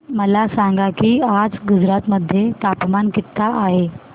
मला सांगा की आज गुजरात मध्ये तापमान किता आहे